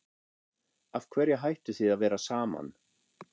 Af hverju hættuð þið að vera saman?